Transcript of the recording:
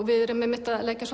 við erum að leggja